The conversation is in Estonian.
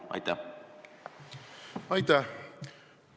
Aitäh!